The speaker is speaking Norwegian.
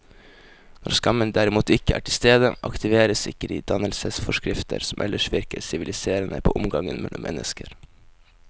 Når skammen derimot ikke er til stede, aktiveres ikke de dannelsesforskrifter som ellers virker siviliserende på omgangen mellom mennesker.